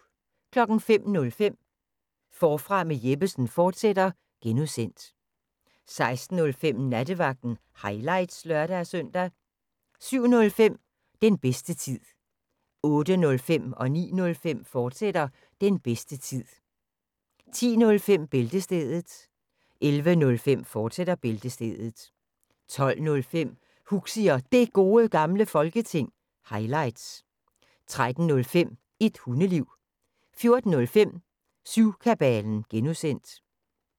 05:05: Forfra med Jeppesen fortsat (G) 06:05: Nattevagten – highlights (lør-søn) 07:05: Den bedste tid 08:05: Den bedste tid, fortsat 09:05: Den bedste tid, fortsat 10:05: Bæltestedet 11:05: Bæltestedet, fortsat 12:05: Huxi og Det Gode Gamle Folketing – highlights 13:05: Et Hundeliv 14:05: Syvkabalen (G)